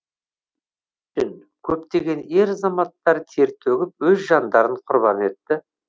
көптеген ер азаматтар тер төгіп өз жандарын құрбан етті